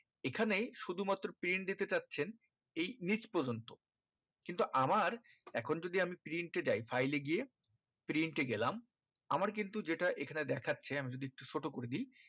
এখানেই শুধু মাত্র print দিতে চাচ্ছেন এই নিচ পর্যন্ত কিন্তু আমার এখন যদি আমি print এ যায় file এ গিয়ে print এ গেলাম আমার কিন্তু যেটা এখানে দেখাচ্ছে আমি যদি একটু ছোটো করে দি